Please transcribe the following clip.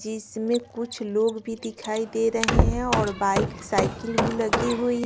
जिसमें कुछ लोग भी दिखाई दे रहे हैं और बाइक साइकिल लगी हुई--